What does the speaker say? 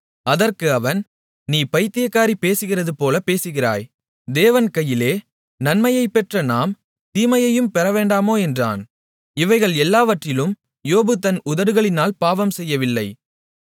அதற்கு அவன் நீ பயித்தியக்காரி பேசுகிறதுபோலப் பேசுகிறாய் தேவன் கையிலே நன்மையைப் பெற்ற நாம் தீமையையும் பெறவேண்டாமோ என்றான் இவைகள் எல்லாவற்றிலும் யோபு தன் உதடுகளினால் பாவம் செய்யவில்லை